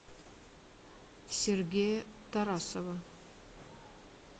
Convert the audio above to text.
сергея тарасова